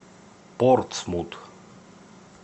портсмут